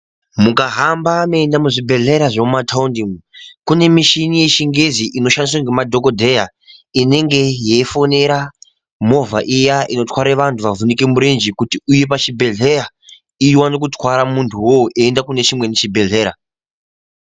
Mukahamba meienda kuzvibhehlera zve muthawundi kune muchini yeshingizhi inoshandiswa nemadhokodheya inenge yeifonera movha iya inotwara vantu vavhunika murenje kuti iwuye pachibhehleya iwane kutware muntu aende kunechimweni chibhehlera